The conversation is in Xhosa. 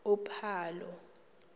uphalo